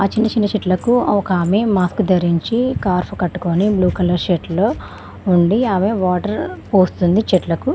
చిన్న చిన్న చెట్లకు ఒకామె మాస్క్ ధరించి స్కార్ఫ్ కట్టుకొని బ్లూ కలర్ షర్ట్లో ఉండి ఆమె వాటర్ పోస్తుంది చెట్లకు.